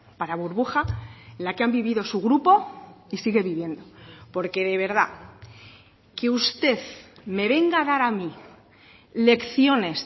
para burbuja la que han vivido su grupo y sigue viviendo porque de verdad que usted me venga a dar a mí lecciones